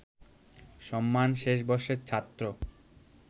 সম্মান শেষ বর্ষের ছাত্র